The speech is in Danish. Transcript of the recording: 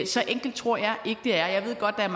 så enkelt tror jeg ikke det er jeg ved godt at